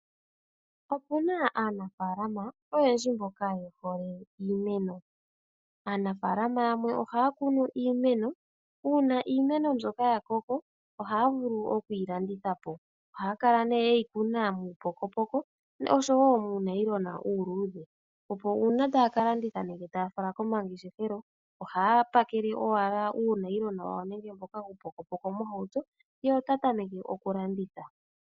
Opu na aanafalama oyendji mboka ye hole iimeno. Aanafaalama yamwe oha ya kunu iimeno uuna iimeno mbyoka ya koko , oha ya vulu oku yi landitha po. Oha ya kala nee ye yi kuna muupokopoko noshowo muunayilona uuludhe. Opo uuna taa ka landitha nenge taa fala komangeshefelo, oha ya pakele owala uunayilona wawo nenge mboka uupokopoko mohauto, ye ota tameke okulanditha.